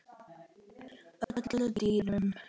öllum dýrum